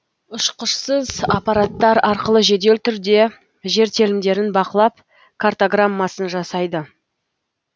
ұшқышсыз аппараттар арқылы жедел түрде жер телімдерін бақылап картаграммасын жасайды